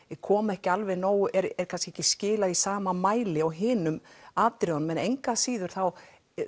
koma ekki alveg nóg eða er kannski ekki skilað í sama mæli og hinum atriðunum en engu að síður þá